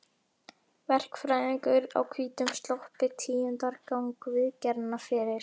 Verkfræðingur á hvítum sloppi tíundar gang viðgerðanna fyrir